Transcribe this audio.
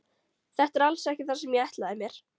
Þetta er alls ekki það sem ég ætlaði mér.